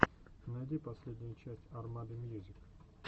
найти последнюю часть армады мьюзик